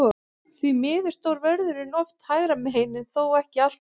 Því miður stóð vörðurinn oft hægra megin, en þó ekki alltaf.